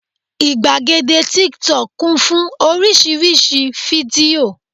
ìgbàgede tíktọk kún fún oríṣiríṣi fídíò